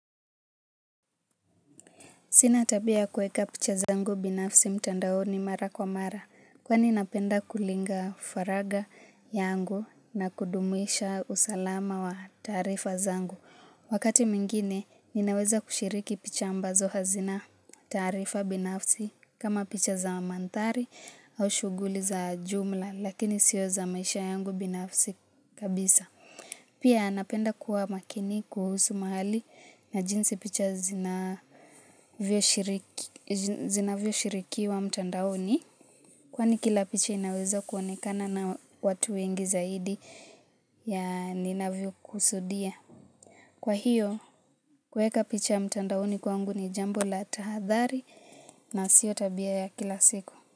Sina tabia ya kueka picha zangu binafsi mtandaoni mara kwa mara, kwani napenda kulinga faraga yangu na kudumisha usalama wa tarifa zangu. Wakati mwingine, ninaweza kushiriki picha ambazo hazina taarifa binafsi kama picha za manthari au shuguli za jumla, lakini sio za maisha yangu binafsi kabisa. Pia napenda kuwa makini kuhusu mahali na jinsi picha zinavyo shirikiwa mtandaoni. Kwani kila picha inaweza kuonekana na watu wengi zaidi ya ninavyo kusudia. Kwa hiyo, kueka picha mtandaoni kwangu ni jambo la tahadhari na sio tabia ya kila siku.